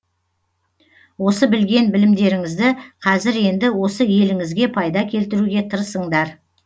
осы білген білімдеріңізді кәзір енді осы еліңізге пайда келтіруге тырысыңдар